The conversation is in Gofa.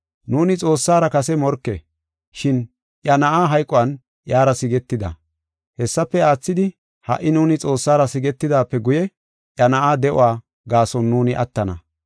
Nuuni Xoossara kase morke, shin iya Na7aa hayquwan iyara sigetida. Hessafe aathidi, ha77i nuuni Xoossara sigetidaape guye, iya na7aa de7uwa gaason nuuni attana.